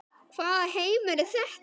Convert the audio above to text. Hvaða heimur er þetta?